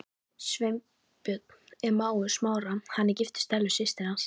Sveinbjörn er mágur Smára, hann er giftur Stellu systur hans.